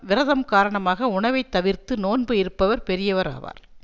விரதம் காரணமாக உணவை தவிர்த்து நோன்பு இருப்பவர் பெரியவர் ஆவார்